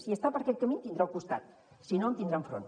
si està per aquest camí em tindrà al costat si no em tindrà enfront